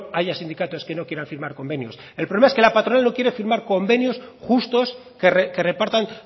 haya sindicatos que no quieran firmar convenios el problema es que la patronal no quiere firmar convenios justos que repartan